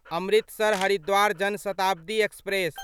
Amritsar Haridwar Jan Shatabdi express